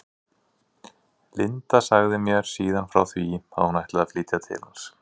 Linda sagði mér síðan frá því að hún ætlaði að flytja til hans.